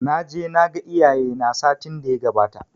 Naje naga iyaye na satin daya gabata